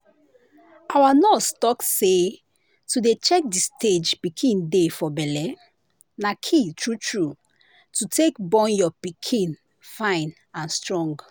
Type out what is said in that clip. our nurse talk say to dey check the stage pikin dey for belle na key true true to take born your pikin fine and strong